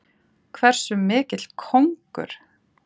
Hversu mikill kóngur!